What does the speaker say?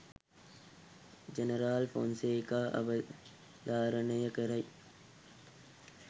general Fonseka අවධාරණය කරයි